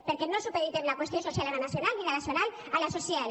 perquè no supedi·tem la qüestió social a la nacional ni la nacional a la social